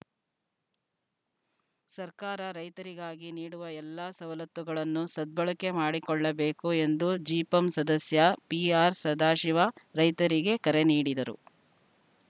ಸರ್ಕಾರ ರೈತರಿಗಾಗಿ ನೀಡುವ ಎಲ್ಲ ಸವಲತ್ತುಗಳನ್ನು ಸದ್ಬಳಕೆ ಮಾಡಿಕೊಳ್ಳಬೇಕು ಎಂದು ಜಿಪಂ ಸದಸ್ಯ ಪಿಆರ್‌ಸದಾಶಿವ ರೈತರಿಗೆ ಕರೆ ನೀಡಿದರು